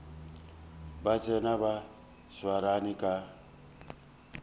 ba tsena ba swarane ka